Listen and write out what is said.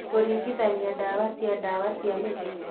Kũringithania ndawa cia ndawa cia mĩtĩ